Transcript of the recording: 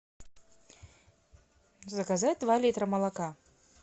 заказать два литра молока